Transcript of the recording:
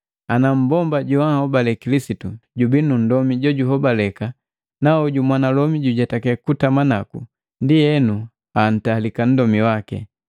Ana mmbomba joahobale Kilisitu jubii nu nndomi jojuhobaleka na hoju mwanalomi jujetake kutama naku, ndienu antalika nndomi waki.